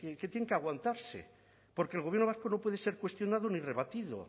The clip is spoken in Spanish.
que tienen que aguantarse porque el gobierno vasco no puede ser cuestionado ni rebatido